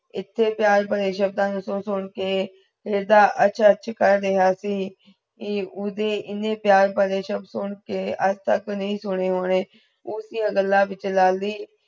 ਈਤੇ ਪਿਆਰ ਭਰੀ ਗਲਾ ਨੂ ਸੁਨ ਸੁਨ ਕੇ ਏਦਾਂ ਅਚ ਅਚ ਕਰ ਰਿਯਾ ਸੀ ਕੀ ਉਦੇ ਇਨ੍ਹੇ ਪਿਆਰ ਭਰੇ ਸ਼ਬਦ ਸੁਣਕੇ ਅੱਜ ਤਕ ਨਹੀਂ ਸੁਣੇ ਹੋਂਦੇ ਉਸ ਦੀਆ ਗੱਲਾਂ ਵਿਚ ਲਾਲੀ